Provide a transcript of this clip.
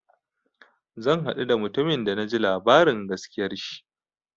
Zan haɗu da mutumin da na ji labarin gaskiyar shi.